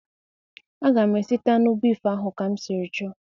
A ga m esita anụ bif ahụ ka m siri chọ